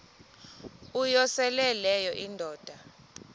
uyosele leyo indoda